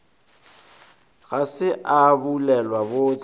ga se a bulelwa bohle